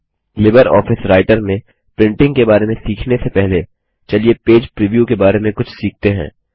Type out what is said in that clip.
Libre office Writer में printing के बारे में सीखने से पहलेचलिए पेज प्रीव्यू के बारे में कुछ सीखते हैं